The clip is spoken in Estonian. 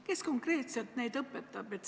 Kes konkreetselt neid õpetab?